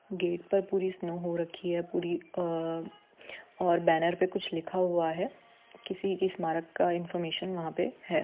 Gate पर police न हो रखी है पूरी अ और बैनर पे कुछ लिखा हुआ है किसी के स्मारक का इनफार्मेशन वहाँ पे है।